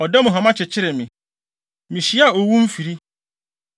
Ɔda mu hama kyekyeree me; mihyiaa owu mfiri.